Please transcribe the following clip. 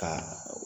Ka